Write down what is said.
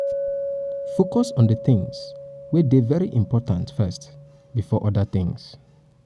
focus on di things wey dey very important first before oda things